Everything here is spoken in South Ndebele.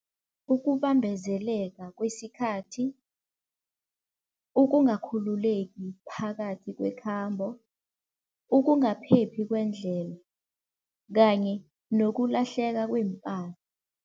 Ukubambezeleka kwesikhathi, ukungakhululeki phakathi kwekhambo, ukungaphephi kwendlela kanye nokulahleka kweempahla.